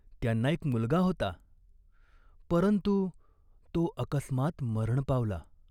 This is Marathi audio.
त्यांना एक मुलगा होता, परंतु तो अकस्मात मरण पावला.